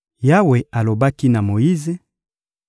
Yawe alobaki na Moyize: